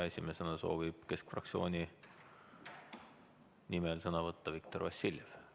Esimesena soovib keskfraktsiooni nimel sõna võtta Viktor Vassiljev.